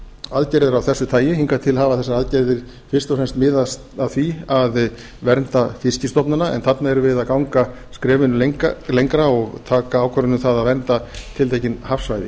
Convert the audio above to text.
aðgerðir af þessu tagi hingað til hafa þessar aðgerðir fyrst og fremst miðað að því að vernda fiskstofnana en þarna erum við að ganga skrefinu lengra og taka ákvörðun um það að vernda tiltekin hafsvæði